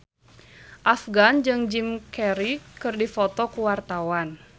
Afgan jeung Jim Carey keur dipoto ku wartawan